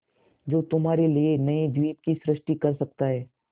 जो तुम्हारे लिए नए द्वीप की सृष्टि कर सकता है